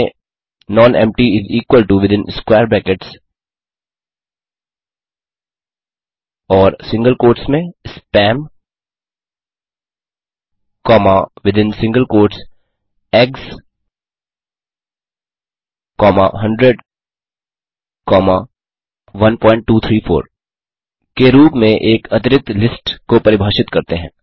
type करें none empty is equal to within square brackets और single quotes में spam comma within single quotes eggs comma 100 comma 1234 के रूप में एक अरिक्त लिस्ट को परिभाषित करते हैं